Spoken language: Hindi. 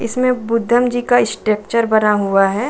इसमें बुद्धम जी का स्ट्रक्चर बना हुआ है।